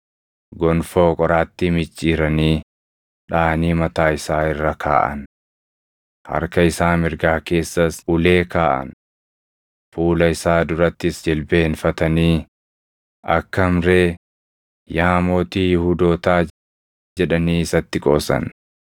gonfoo qoraattii micciiranii dhaʼanii mataa isaa irra kaaʼan. Harka isaa mirgaa keessas ulee kaaʼan. Fuula isaa durattis jilbeenfatanii, “Akkam ree, yaa mootii Yihuudootaa!” jedhanii isatti qoosan.